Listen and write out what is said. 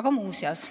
Aga muuseas,